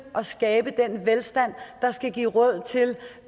at skabe den velstand der skal give råd til